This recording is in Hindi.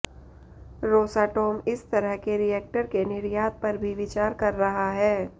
रोसाटोम इस तरह के रिएक्टर के निर्यात पर भी विचार कर रहा है